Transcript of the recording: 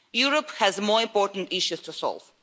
Europe has more important issues to solve.